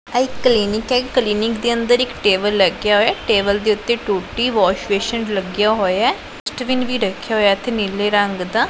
ਇਹ ਇੱਕ ਕਲੀਨਿਕ ਹੈ ਕਲੀਨਿਕ ਦੇ ਅੰਦਰ ਇੱਕ ਟੇਬਲ ਲੱਗਿਆ ਹੋਇਆ ਏ ਟੇਬਲ ਦੇ ਉੱਤੇ ਟੂਟੀ ਵਾਸ਼ ਬੇਸਿਨ ਲੱਗੀਆਂ ਹੋਇਆ ਏ ਡਸਟਵਿਨ ਵੀ ਰੱਖਿਆ ਹੋਇਆ ਏ ਇੱਥੇ ਨੀਲੇ ਰੰਗ ਦਾ।